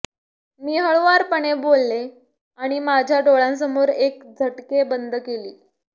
मी हळुवारपणे बोलले आणि माझ्या डोळ्यांसमोर एक झटके बंद केली